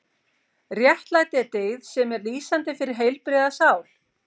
Réttlæti er dyggð sem er lýsandi fyrir heilbrigða sál.